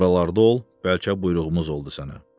Buralarda ol, bəlkə buyruğumuz oldu sənə.